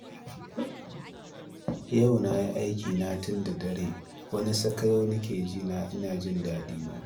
Yau na yi aikina tun dare, wani sakayau nake ji na ina shan sha'anina